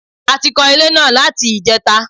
A ti kan ilé náà láti ìjẹta